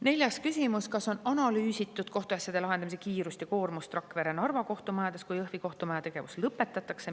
Neljas küsimus: "Kas on analüüsitud kohtuasjade lahendamise kiirust ja koormust Rakvere ja Narva kohtumajades, kui Jõhvi kohtumaja tegevus lõpetatakse?